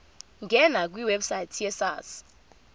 ngena kwiwebsite yesars